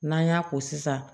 N'an y'a ko sisan